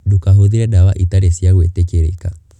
Ndũkahũthĩre ndawa itarĩ cia gwĩtĩkĩrĩka.